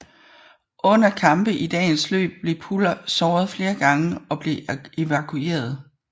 Under kampe i dagens løb blev Puller såret flere gange og blev evakueret